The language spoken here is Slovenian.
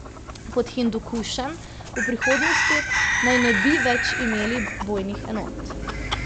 Pod Hindukušem v prihodnosti naj ne bi več imeli bojnih enot.